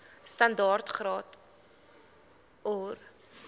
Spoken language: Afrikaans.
standaard graad or